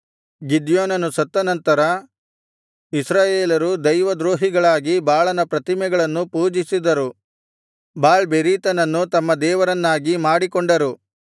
ಗಿದ್ಯೋನನು ಸತ್ತನಂತರ ಇಸ್ರಾಯೇಲರು ದೈವದ್ರೋಹಿಗಳಾಗಿ ಬಾಳನ ಪ್ರತಿಮೆಗಳನ್ನು ಪೂಜಿಸಿದರು ಬಾಳ್‌ಬೆರೀತನನ್ನು ತಮ್ಮ ದೇವರನ್ನಾಗಿ ಮಾಡಿಕೊಂಡರು